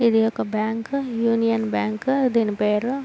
ఇది ఒక bank union bank దీని పేరు.